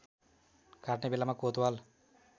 काट्ने बेलामा कोतवाल